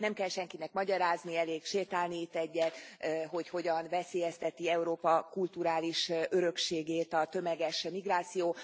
Nem kell senkinek magyarázni, elég sétálni itt egyet, hogy hogyan veszélyezteti Európa kulturális örökségét a tömeges migráció.